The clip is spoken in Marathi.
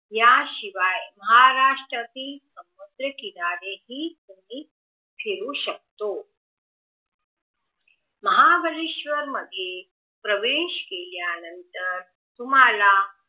याशिवाय महाराष्ट्रातील संद्रकिनारे हि तुम्ही फिरू शकता महाबळेशवर मध्ये प्रवेश केल्यानंतर तुम्हाला